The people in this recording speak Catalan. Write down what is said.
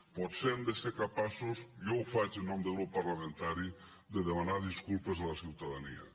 potser hem de ser capaços jo ho faig en nom del grup parlamentari de demanar disculpes a la ciutadania